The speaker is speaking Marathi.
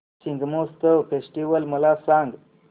शिग्मोत्सव फेस्टिवल मला सांग